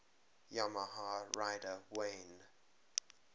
yamaha rider wayne